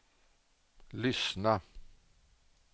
lyssna